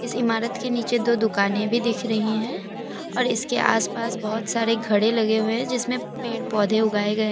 इस इमारत के नीचे दो दुकानें भी दिख रही है और इसके आसपास बहुत सारे खड़े लगे हुए हैं जिसमें पेड़ पौधे उगाए गए--